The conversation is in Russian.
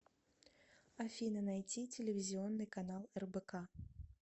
афина найти телевизионный канал рбк